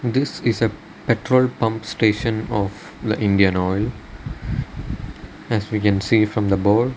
this is a petrol pump station of the indian oil as we can see from the board.